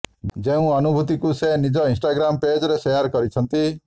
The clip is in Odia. ଯେଉଁ ଅନୁଭୂତିକୁ ସେ ନିଜ ଇନଷ୍ଟାଗ୍ରାମ ପେଜରେ ସେୟାର କରିଛନ୍ତି